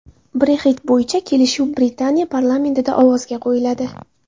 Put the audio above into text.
Brexit bo‘yicha kelishuv Britaniya parlamentida ovozga qo‘yiladi.